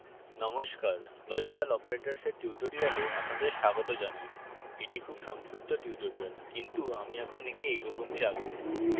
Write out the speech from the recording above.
নমস্কার লজিক্যাল operatorsএর tutorial আপনাদের স্বাগত জানাই এটি খুব সংক্ষিপ্ত tutorial কিন্তু আমি এখন একে এই রকমই রাখবো